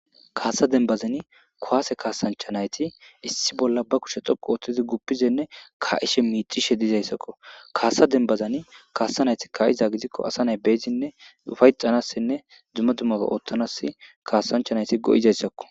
kaasa dembazani kowaase kaasanchanayti issi bolla ba kushe xoqu ooththizi guppizenne ka7ishe miixishe dizayssakko kaasa denbazani kaasa nayti ka7iza gidikko asa nay beyzinne ufayxanassinne dzumma dummae ooththanas kaasanchanayti go7izayssakko